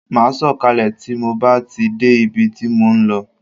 Ma sọ kalẹ tí mo bá ti dé ibi tí mo ń lọ